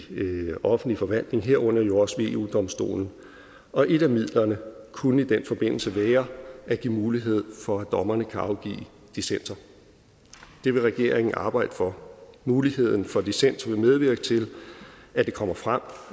offentlig forvaltning herunder jo også ved eu domstolen og et af midlerne kunne i den forbindelse være at give mulighed for at dommerne kan afgive dissenser det vil regeringen arbejde for muligheden for dissens vil medvirke til at det kommer frem